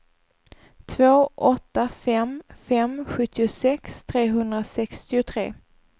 två åtta fem fem sjuttiosex trehundrasextiotre